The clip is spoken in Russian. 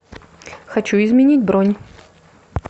хочу изменить бронь